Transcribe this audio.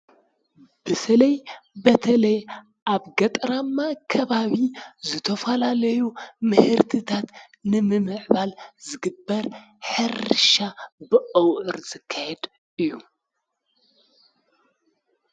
በተለይ በተለይ ኣብ ገጠራማ ከባቢ ዝተፈላለዩ ምህርትታት ንምምዕባል ዝግበር ሕርሻ በኣውዕር ዝካየድ እዩ፡፡